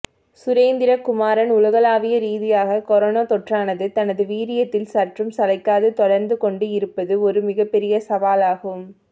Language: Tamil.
சுரேந்திரகுமாரன் உலகளாவிய ரீதியாக கொரோனா தொற்றானது தனது வீரியத்தில் சற்றும் சளைக்காது தொடர்ந்து கொண்டு இருப்பது ஒரு மிகப்பெரிய சவாலாகும்